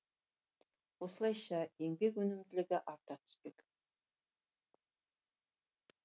осылайша еңбек өнімділігі арта түспек